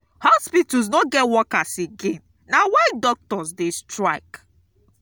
hospitals no get workers again na why doctors dey strike.